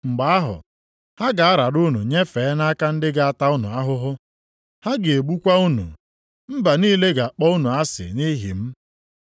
“Mgbe ahụ ha ga-arara unu nyefee nʼaka ndị ga-ata unu ahụhụ. Ha ga-egbukwa unu. Mba niile ga-akpọ unu asị nʼihi m.